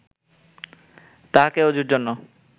তাঁহাকে ওজুর জন্য